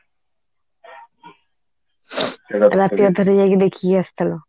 ରାତି ଅଧାରେ ଯାଇକି ଦେଖିକି ଆସିଥିଲା